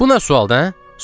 Bu nə sualdır, hə?